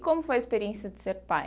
Como foi a experiência de ser pai?